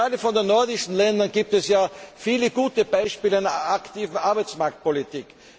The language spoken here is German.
Gerade aus den nordischen Ländern gibt es viele gute Beispiele einer aktiven Arbeitsmarktpolitik.